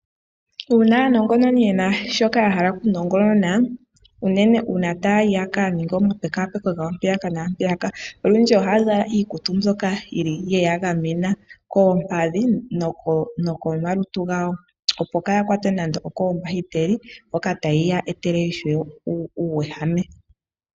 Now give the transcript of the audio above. Uuna aanongononi yena shoka ya hala okunongonona unene ngele taya yi yakaninge omapekapeko gawo mpaka naampeyaka olundji ohaya zala iikutu mbyoka yili ye yagamena koompadhi nokomalutu gawo opo kaaya kwatwe koombahiteli ndhoka tadhi ya etele uuwehame.